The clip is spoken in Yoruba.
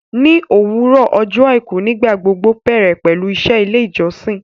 Ní òwúrọ̀ ọjọ àìkú nígbà gbogbo bẹ̀rẹ̀ pẹlú iṣẹ́ ilé ìjọsìn